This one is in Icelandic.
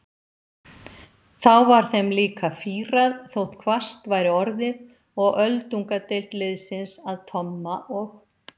Þá var þeim líka fýrað þótt hvasst væri orðið og öldungadeild liðsins að Tomma og